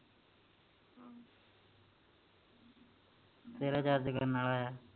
ਤੇਰਾ charge ਕਰਨ ਵਾਲਾ